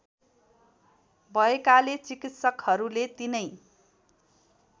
भएकाले चिकित्सकहरूले तिनै